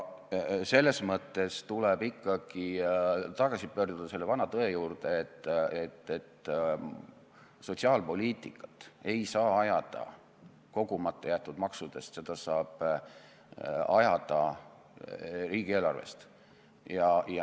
Selles mõttes tuleb ikkagi tagasi pöörduda selle vana tõe juurde, et sotsiaalpoliitikat ei saa ajada kogumata jäetud maksude abil, seda saab ajada riigieelarve abil.